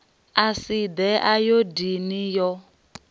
a si ḓe ayodini yo